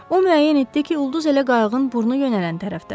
O müəyyən etdi ki, ulduz elə qayığın burnu yönələn tərəfdədir.